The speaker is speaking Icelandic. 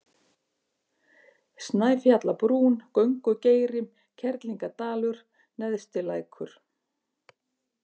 Snæfjallabrún, Göngugeiri, Kerlingadalur, Neðstilækur